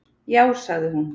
Já, sagði hún.